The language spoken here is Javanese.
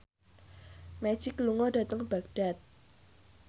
Magic lunga dhateng Baghdad